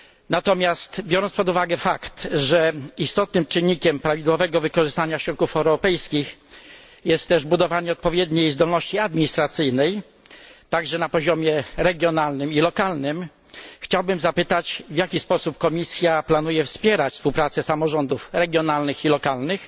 Natomiast biorąc pod uwagę fakt, że istotnym czynnikiem prawidłowego wykorzystania środków europejskich jest też budowanie odpowiedniej zdolności administracyjnej, także na poziomie regionalnym i lokalnym, chciałbym zapytać, w jaki sposób Komisja planuje wspierać współpracę samorządów regionalnych i lokalnych